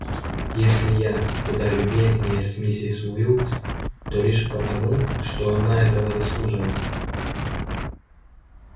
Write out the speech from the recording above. если я куда любезнее с миссис уилкс то лишь потому что она этого заслуживает